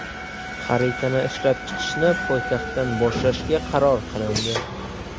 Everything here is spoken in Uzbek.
Xaritani ishlab chiqishni poytaxtdan boshlashga qaror qilindi.